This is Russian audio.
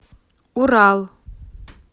урал